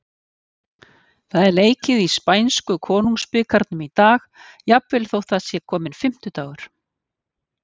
Það er leikið í spænsku Konungsbikarnum í dag, jafnvel þótt það sé kominn fimmtudagur.